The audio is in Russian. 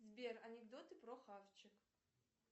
сбер анекдоты про хавчик